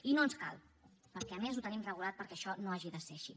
i no ens cal perquè a més ho tenim regulat perquè això no hagi de ser així